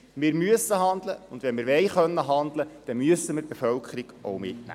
Wir müssen handeln, und wenn wir handeln können wollen, müssen wir die Bevölkerung mitnehmen.